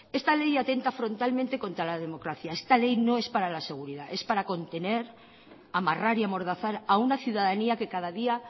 esta ley atenta frontalmente contra la democracia esta ley no es para la seguridad es para contener amarrar y amordazar a una ciudadanía que cada día